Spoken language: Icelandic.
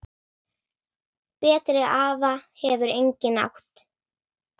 Betri afa hefur enginn átt.